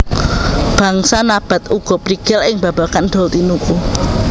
Bangsa Nabath uga prigel ing babagan dol tinuku